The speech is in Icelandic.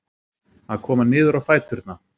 Að koma niður á fæturna